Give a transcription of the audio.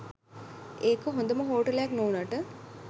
ඒක හොඳම හෝටලයක් නොවුණාට